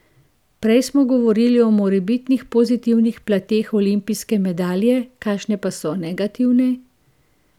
Prej smo govorili o morebitnih pozitivnih plateh olimpijske medalje, kakšne pa so negativne?